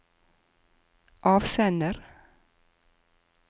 avsender